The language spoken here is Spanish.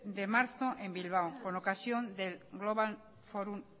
de marzo en bilbao con ocasión del global forum